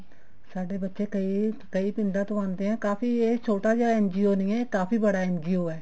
ਸਾਡੇ ਬੱਚੇ ਕਈ ਕਈ ਪਿੰਡਾਂ ਤੋਂ ਆਉਂਦੇ ਆ ਕਾਫੀ ਇਹ ਛੋਟਾ ਜਾ NGO ਨਹੀਂ ਹੈ ਇਹ ਕਾਫੀ ਬੜਾ NGO ਹੈ